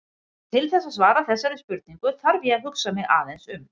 til þess að svara þessari spurningu þarf ég að hugsa mig aðeins um